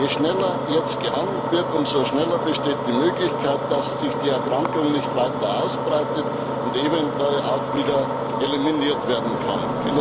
Je schneller jetzt gehandelt wird, umso schneller besteht die Möglichkeit, dass sich die Erkrankung nicht weiter ausbreitet und eventuell auch wieder eliminiert werden kann.